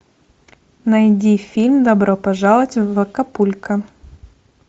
найди фильм добро пожаловать в акапулько